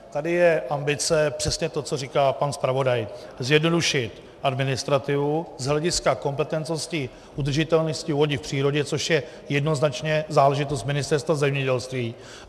Tady je ambice přesně to, co říká pan zpravodaj: zjednodušit administrativu z hlediska kompetentnosti udržitelnosti vody v přírodě, což je jednoznačně záležitost Ministerstva zemědělství.